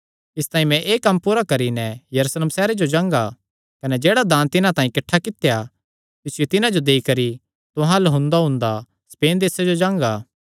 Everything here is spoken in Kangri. इसतांई मैं एह़ कम्म पूरा करी नैं यरूशलेम सैहरे जो जांगा कने जेह्ड़ा दान तिन्हां तांई किठ्ठा कित्या तिसियो तिन्हां जो देई करी तुहां अल्ल हुंदाहुंदा स्पेन देसे जो जांगा